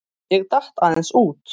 Ég datt aðeins út.